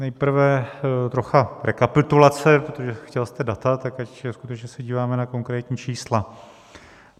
Nejprve trocha rekapitulace, protože chtěl jste data, tak ať skutečně se díváme na konkrétní čísla.